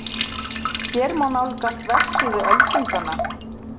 Hér má nálgast vefsíðu Öldunganna